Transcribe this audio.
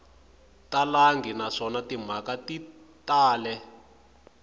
talangi naswona timhaka ti tala